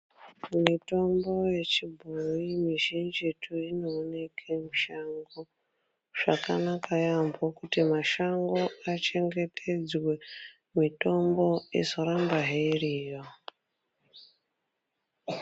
Mitombo yechibhoi mizhinjitu inoneke mushango. Zvakanaka yaambo kuti mashango achengetedzwe mitombo izorambahe iriyo.